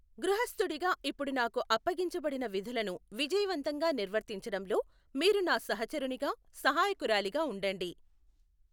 గృహస్థుడిగా ఇప్పుడు నాకు అప్పగించబడిన విధులను విజయవంతంగా నిర్వర్తించడంలో మీరు నా సహచరునిగా, సహాయకురాలిగా ఉండండి.